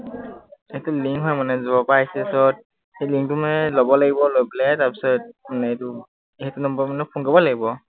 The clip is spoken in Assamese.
এইটো link হয় মানে যৰ পৰা আহিছে যত, সেই link টো মানে লব লাগিব, লৈ পেলাই তাৰপিছত মানে এইটো, সেইটো number মানে phone কৰিব লাগিব।